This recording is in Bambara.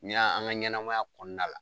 N'i y'a an ka ɲɛnamaya kɔnɔna la